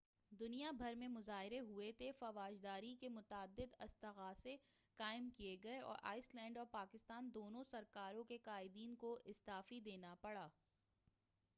دنیا بھر میں مظاہرے ہوئے تھے فوجداری کے متعدد استغاثے قائم کئے گئے اور آئس لینڈ اور پاکستان دونوں سرکاروں کے قائدین کو استعفی دینا پڑا تھا